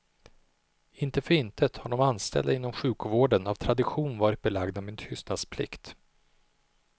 Inte för intet har de anställda inom sjukvården av tradition varit belagda med tystnadsplikt.